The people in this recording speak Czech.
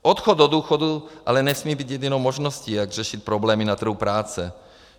Odchod do důchodu ale nesmí být jedinou možností, jak řešit problémy na trhu práce.